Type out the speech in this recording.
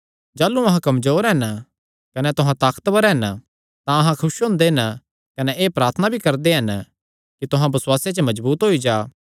जाह़लू अहां कमजोर हन कने तुहां ताकतवर हन तां अहां खुस हुंदे हन कने एह़ प्रार्थना भी करदे हन कि तुहां बसुआसे च मजबूत होई जा